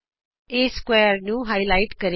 ਇਹ ਸਮਕੋਣ ਚਤੁਰਭੁਜ ਨੂੰ ਗੂੜਾ ਕਰਕੇ ਉਭਾਰੇਗਾ